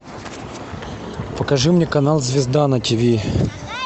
покажи мне канал звезда на тиви